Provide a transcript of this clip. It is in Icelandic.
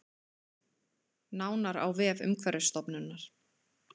Nánar á vef Umhverfisstofnunar